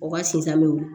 O ka sinsan bɛ wolo